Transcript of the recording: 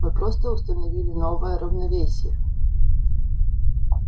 мы просто установили новое равновесие